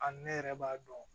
A ne yɛrɛ b'a dɔn